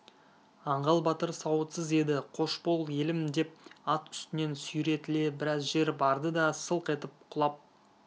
аңғал батыр сауытсыз еді қош бол елім деп ат үстінен сүйретіле біраз жер барды да сылқ етіп құлап